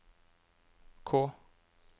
K